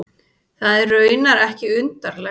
Það er raunar ekki undarlegt.